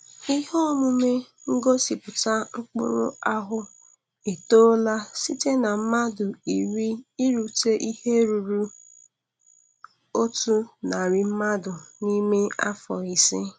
Ihe omume ngosịpụta mkpụrụ ahụ etola site na mmadụ iri irute ihe ruru otu narị mmadụ n'ime afọ ise.